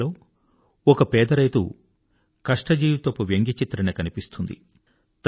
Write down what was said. ఈ కథలో ఒక పేదరైతు కష్టజీవితపు వ్యంగ్యచిత్రణ కనిపిస్తుంది